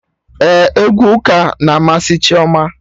Ee, egwu ụka na amasị Chioma